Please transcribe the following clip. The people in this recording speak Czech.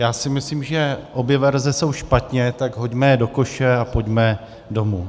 Já si myslím, že obě verze jsou špatně, tak je hoďme do koše a pojďme domů.